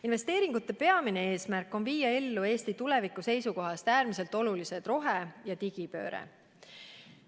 Investeeringute peamine eesmärk on viia ellu Eesti tuleviku seisukohast äärmiselt olulised rohe- ja digipööre.